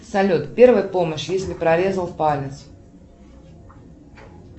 салют первая помощь если прорезал палец